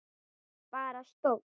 Bara stóll!